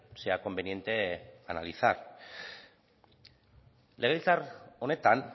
sea conveniente analizar legebiltzar honetan